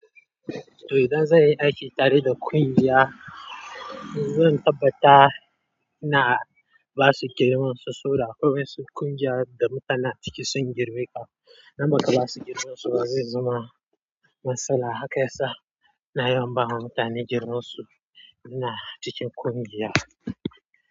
To, idan zan yi aiki tare da kungiya, zan tabbata ina ba su girman su, soda akwai wasu kungiyar da mutane ciki sun girme ka. Namakala su girman su ba zai zama matsala, haka yasa ina yawan bawa mutane girman su ina cikin kungiya.